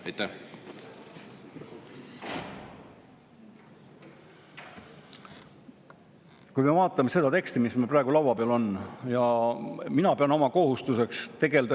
Vaatame seda teksti, mis meil praegu laua peal on.